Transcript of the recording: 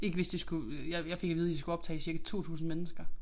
Ikke hvis de skulle øh jeg jeg fik at vide de skulle optage cirka 2000 mennesker